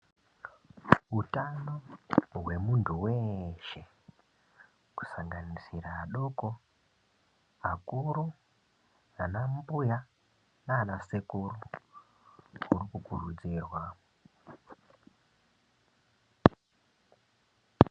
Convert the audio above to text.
Utano hwemuntu weshe kusanganisira adoko akuru ana mbuya nana sekuru huri kukurudzirwa .